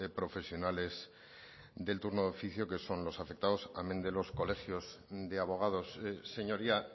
profesionales del turno de oficio que son los afectados amén de los colegios de abogados señoría